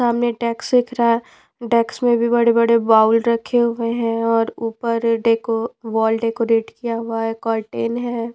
सामने डेक्स दिख रहा है डेक्स में भी बड़े-बड़े बाउल रखे हुए हैं और ऊपर डेको वॉल डेकोरेट किया हुआ है कर्टन है।